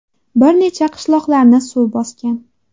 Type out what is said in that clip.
Bir necha qishloqlarni suv bosgan.